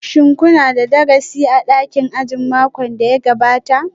Shin kuna da darasi a dakin ajin makon da ya gabata?